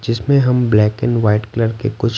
जिसमें हम black and white colour के कुछ--